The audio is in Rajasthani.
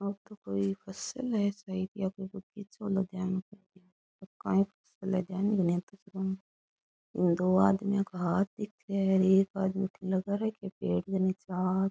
या तो कोई फ़सल है इसमें या कोई पीछे वालो ध्यान कोणी कांई फ़सल है धयान ही कोणी दो आदमियों का हाथ दिखे है एक आदमी लगा रख्या है पेड़ के नीचे हाथ।